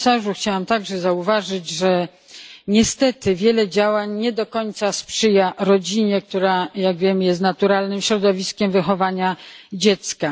Chciałam także zauważyć, że niestety wiele działań nie do końca sprzyja rodzinie, która jak wiemy jest naturalnym środowiskiem wychowania dziecka.